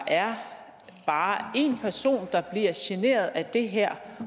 er én person der bliver generet af det her